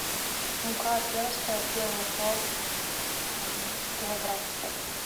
мука пермская первый сорт килограмм